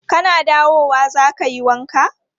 Kana dawowa za ka yi wanka?